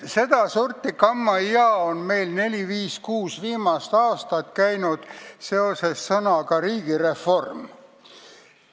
Sedasorti kammajaa on meil sõnaga "riigireform" käinud neli, viis või kuus viimast aastat.